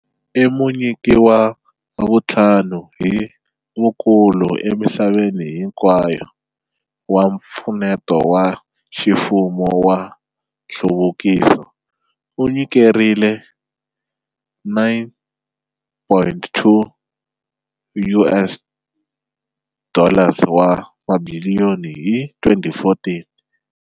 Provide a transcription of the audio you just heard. I munyiki wa vuntlhanu hi vukulu emisaveni hinkwayo wa mpfuneto wa ximfumo wa nhluvukiso, u nyikerile 9.2 US dollars wa tibiliyoni hi 2014.